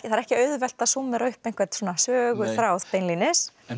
það er ekki auðvelt að súmmera upp einhvern söguþráð beinlínis en